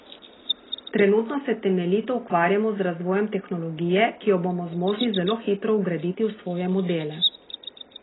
Trenutno se temeljito ukvarjamo z razvojem tehnologije, ki jo bomo zmožni zelo hitro vgraditi v svoje modele.